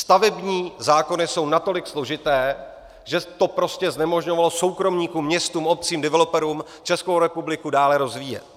Stavební zákony jsou natolik složité, že to prostě znemožňovalo soukromníkům, městům, obcím, developerům Českou republiku dále rozvíjet.